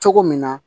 Cogo min na